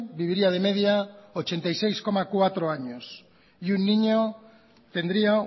viviría de media ochenta y seis coma cuatro años y un niño tendría